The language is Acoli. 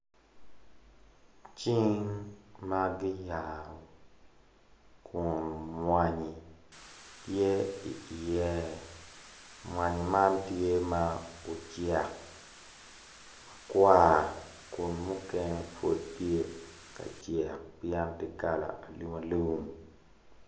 Cing ma giyaro kun mwanyi tye iye mwanyi man tye ma ocek makwar kun mukene pud tye ka cek pien ti kala alum alum